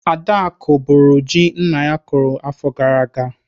Adaku bụrụ ji nna ya kụrụ afọ gara aga.